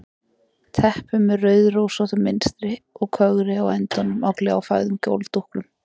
Teppi með rauðrósóttu munstri og kögri á endunum á gljáfægðum gólfdúknum.